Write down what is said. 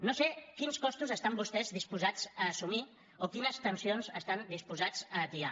no sé quins costos estan vostès disposats a assumir o quines tensions estan disposats a atiar